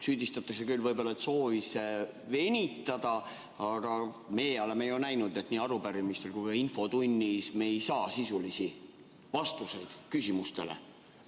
Süüdistatakse küll võib-olla soovis venitada, aga meie oleme ju näinud, et ei arupärimistel ega ka infotunnis me ei saa sisulisi vastuseid küsimustele.